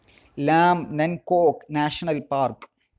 Lam Nam Kok National park